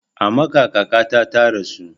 A Makkah kakata ta rasu